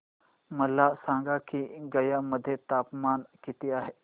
मला सांगा की गया मध्ये तापमान किती आहे